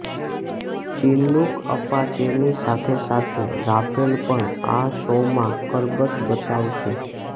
Chinook અપાચેની સાથે સાથે રાફેલ પણ આ શોમાં કરતબ બતાવશે